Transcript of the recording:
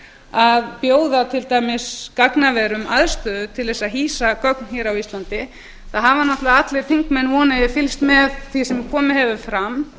að bjóða til dæmis gagnaverum aðstöðu til að hýsa gögn á íslandi þá hafa náttúrlega allir þingmenn vona ég fylgst með því sem komið hefur fram